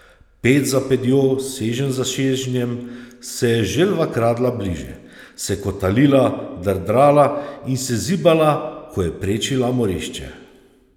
Ped za pedjo, seženj za sežnjem se je želva kradla bližje, se kotalila, drdrala in se zibala, ko je prečila morišče.